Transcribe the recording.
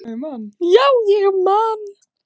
Já, ég man.